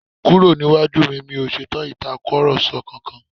Kúrò níwájú mi, mi ò ṣetán Ìtàkùrọ̀sọ kankan!